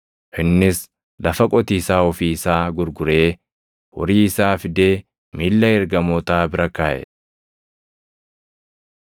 Innis lafa qotiisaa ofii isaa gurguree horii isaa fidee miilla ergamootaa bira kaaʼe.